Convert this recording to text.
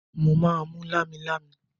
Mo máa mú lámilámi.